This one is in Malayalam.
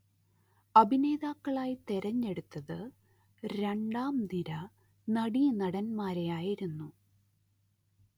അഭിനേതാക്കളായി തിരഞ്ഞെടുത്തത്‌ രണ്ടാംനിര നടീനടൻമാരെയായിരുന്നു